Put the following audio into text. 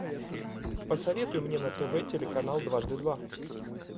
посоветуй мне на тв телеканал дважды два